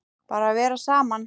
Bara vera saman.